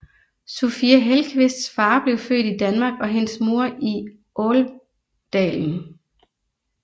Sofia Hellqvists far blev født i Danmark og hendes mor i Älvdalen